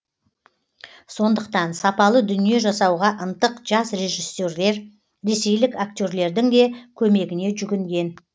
сондықтан сапалы дүние жасауға ынтық жас режиссерлер ресейлік актерлердің де көмегіне жүгінген